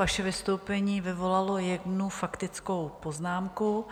Vaše vystoupení vyvolalo jednu faktickou poznámku,